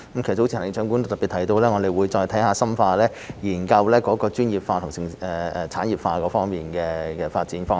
早前行政長官都特別提到，我們會再深化研究專業化、產業化方面的發展方向。